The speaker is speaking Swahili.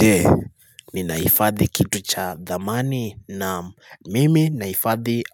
Je, ni nahifadhi kitu cha thamani naam mimi nahifadhi